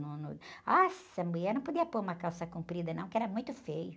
Nossa, a mulher não podia pôr uma calça comprida, não, porque era muito feio.